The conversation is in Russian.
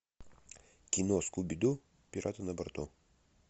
кино скуби ду пираты на борту